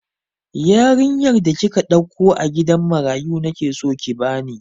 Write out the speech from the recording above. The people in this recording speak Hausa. Yarinyar da kika ɗauko a gidan marayu nake so ki bani!